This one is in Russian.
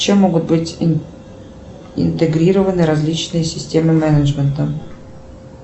чем могут быть интегрированы различные системы менеджмента